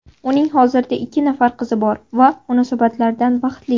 Uning hozirda ikki nafar qizi bor va munosabatlardan baxtli.